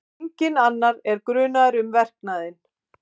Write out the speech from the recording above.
Enginn annar er grunaður um verknaðinn